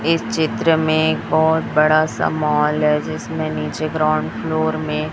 इस चित्र में एक बहोत बड़ासा माल है जिसमें नीचे ग्राउंड फ्लोर में--